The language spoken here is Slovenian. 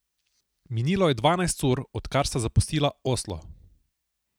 Minilo je dvanajst ur, odkar sta zapustila Oslo.